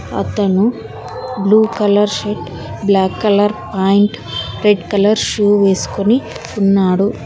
అతను blue colour shirt black colour pant red colour shoe వేసుకుని ఉన్నాడు.